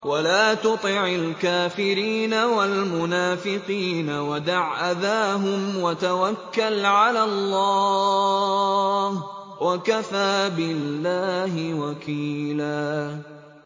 وَلَا تُطِعِ الْكَافِرِينَ وَالْمُنَافِقِينَ وَدَعْ أَذَاهُمْ وَتَوَكَّلْ عَلَى اللَّهِ ۚ وَكَفَىٰ بِاللَّهِ وَكِيلًا